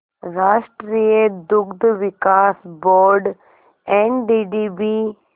राष्ट्रीय दुग्ध विकास बोर्ड एनडीडीबी